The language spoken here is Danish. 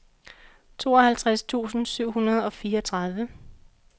tooghalvtreds tusind syv hundrede og fireogtredive